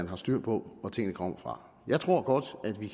er styr på hvor tingene kommer fra jeg tror godt at vi